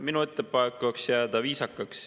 Minu ettepanek oleks jääda viisakaks.